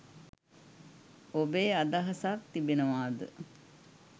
ඔබේ අදහසක් තිබෙනවාද?